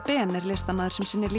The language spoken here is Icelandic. Ben er listamaður sem sinnir